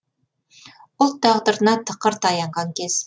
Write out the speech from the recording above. ұлт тағдырына тықыр таянған кез